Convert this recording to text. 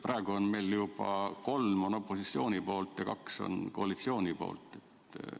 Praegu on meil juba kolm opositsioonist ja kaks koalitsioonist.